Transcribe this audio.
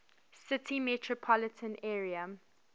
city metropolitan area